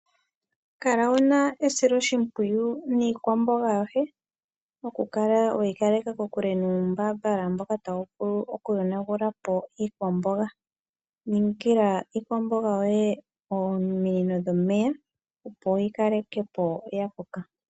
Kala wu na esiloshimpwiyu niikwamboga yoye okukala we yi kaleka kokulu nuumbambala mboka tawu vulu okuyonagulapo iikwamboga. Ningila iikwamboga yoye ominino dhomeya opo yi kalekepo ya koka.